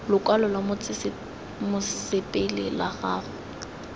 lokwalo lwa mosepele la gago